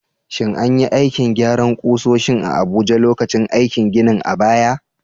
Shin an yi aikin gyaran ƙusoshin a Abuja lokacin aikin gini a baya?